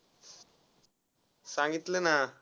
सांगितल ना.